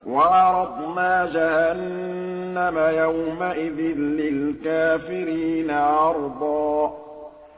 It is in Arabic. وَعَرَضْنَا جَهَنَّمَ يَوْمَئِذٍ لِّلْكَافِرِينَ عَرْضًا